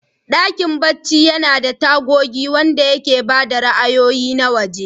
Dakin barci yana da tagogi waɗanda ke ba da ra'ayoyi na waje.